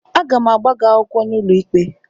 Aga m agba gị akwụkwọ n'ụlọikpe